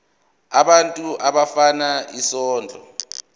abantu abafuna isondlo